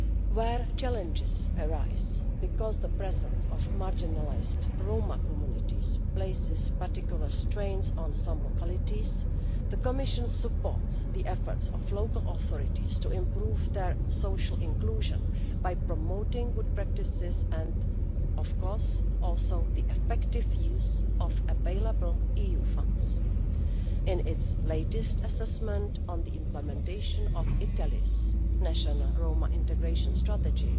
Where challenges arise because the presence of marginalised Roma communities is placing particular strains on some localities, the Commission supports the efforts of local authorities to improve their social inclusion by promoting good practices and also, of course, the effective use of available EU funds. In its latest assessment of the implementation of Italy's national Roma integration strategy,